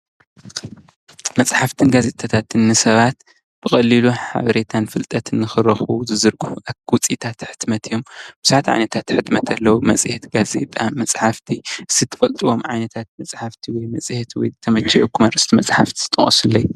መፅሓፍትን ጋዜጣታትን ንሰባት ብቀሊሉ ሓበሬታን ፍልጠትን ንኽረኽቡ ዝዝርግሑ ውፅኢታት ሕትመት እዮም። ቡዙሓት ዓይነታት ሕትመት አለው። መፅሓፍቲ ፣ ጋዜጣ፣ መፅሓፍቲ እስቲ ትፈልጥዎም ዓይነታት መፅሓፍቲ ወይ መፅሄት ዝተመቸየኹም እርእስቲ መፅሓፍቲ እስቲ ጥቀሱለይ።